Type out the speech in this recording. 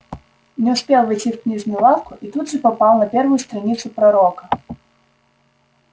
не успел войти в книжную лавку и тут же попал на первую страницу пророка